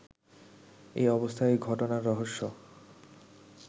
এ অবস্থায় ঘটনার রহস্য